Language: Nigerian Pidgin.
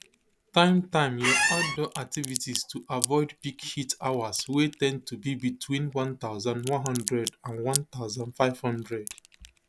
time time your outdoor activities to avoid peak heat hours wey ten d to be between one thousand, one hundred and one thousand, five hundred